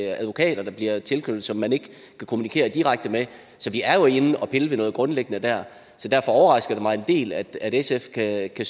advokater der bliver tilknyttet og som man ikke kan kommunikere direkte med vi er jo inde at pille ved noget grundlæggende der så derfor overrasker det mig en del at sf kan kan